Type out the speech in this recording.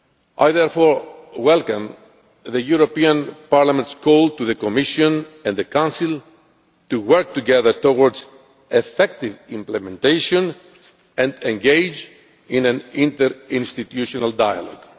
I therefore welcome the European Parliament's call to the Commission and the Council to work together towards effective implementation and to engage in an interinstitutional dialogue.